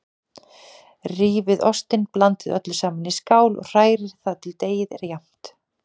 Rífið ostinn, blandið öllu saman í skál og hrærið þar til deigið er jafnt.